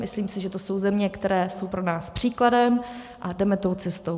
Myslím si, že to jsou země, které jsou pro nás příkladem, a jdeme tou cestou.